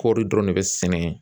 Kɔɔri dɔrɔn de ne bi sɛnɛ